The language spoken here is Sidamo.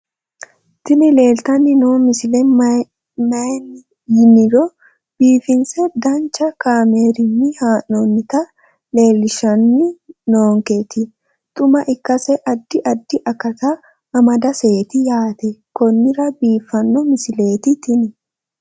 tini leeltanni noo misile maaati yiniro biifinse danchu kaamerinni haa'noonnita leellishshanni nonketi xuma ikkase addi addi akata amadaseeti yaate konnira biiffanno misileeti tini